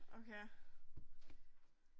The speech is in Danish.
Okay.